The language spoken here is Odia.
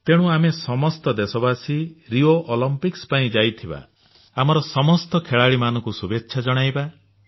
ତେଣୁ ଆମେ ଦେଶବାସୀ ରିଓ ଅଲିମ୍ପିକ୍ସ ପାଇଁ ଯାଇଥିବା ଆମର ଖେଳାଳିମାନଙ୍କୁ ଶୁଭେଚ୍ଛା ଜଣାଇବା